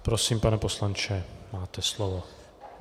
Prosím, pane poslanče, máte slovo.